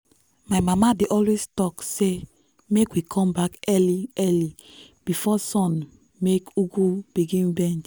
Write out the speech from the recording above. my mama dey always talk say make we come back early early before sun make ugu begin bend.